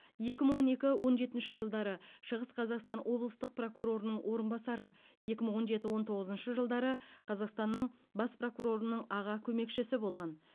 екі мың он екі он жетінші жылдары шығыс қазақстан облыстық прокурорының орынбасары екі мың он жеті он тоғызыншы жылдары қазақстанның бас прокурорының аға көмекшісі болған